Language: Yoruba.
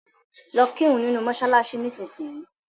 Lọ́ kírun nínu mọ́ṣáláṣí nísìnyìí.